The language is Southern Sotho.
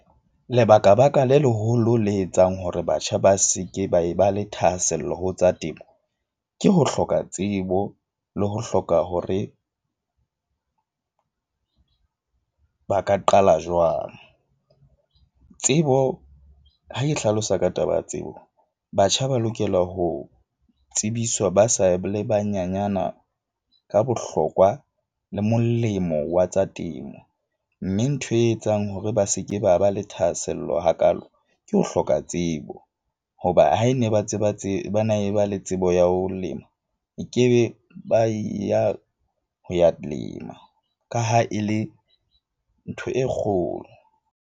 Lebaka baka le leholo le etsang hore batjha ba seke ba e ba le thahasello ho tsa temo, ke ho hloka tsebo le ho hloka hore ba ka qala jwang. Tsebo ha e hlalosa ka taba ya tsebo, batjha ba lokela ho tsebiswa ba sa le banyenyana ka bohlokwa le molemo wa tsa temo. Mme ntho e etsang hore ba seke ba ba le thahasello hakaalo, ke ho hloka tsebo. Hoba ha e ne ba tseba bana e ba le tsebo ya ho lema, e ke be ba ya ho ya lema ka ha e le ntho e kgolo.